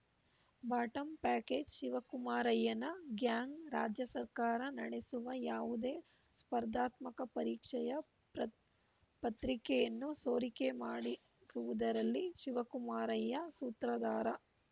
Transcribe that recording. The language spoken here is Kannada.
ಬಾಟಂ ಪ್ಯಾಕೇಜ್‌ ಶಿವಕುಮಾರಯ್ಯನ ಗ್ಯಾಂಗ್‌ ರಾಜ್ಯ ಸರ್ಕಾರ ನಡೆಸುವ ಯಾವುದೇ ಸ್ಪಧಾತ್ಮಕ ಪರೀಕ್ಷೆಯ ಪ್ರ ಪತ್ರಿಕೆಯನ್ನು ಸೋರಿಕೆ ಮಾಡಿಸುವುದರಲ್ಲಿ ಶಿವಕುಮಾರಯ್ಯ ಸೂತ್ರಧಾರ